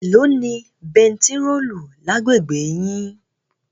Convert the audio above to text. Èló ni bẹntiróòlù lágbègbè yín?